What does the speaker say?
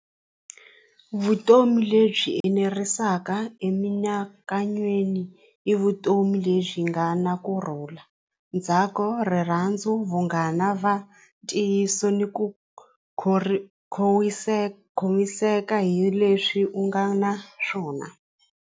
Vutomi lebyi enerisaka emianakanyweni hi vutomi lebyi nga na kurhula, ndzhaka, rirhandzu, vunghana va ntiyiso ni ku ri khomiseka hi leswi u nga na swona.